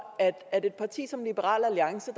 at et parti som liberal alliance